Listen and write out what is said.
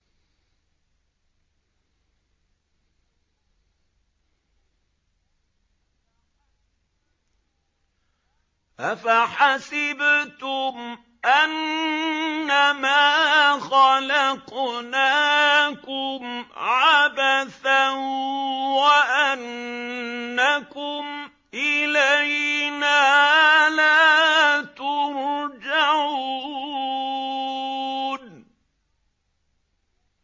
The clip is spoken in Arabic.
أَفَحَسِبْتُمْ أَنَّمَا خَلَقْنَاكُمْ عَبَثًا وَأَنَّكُمْ إِلَيْنَا لَا تُرْجَعُونَ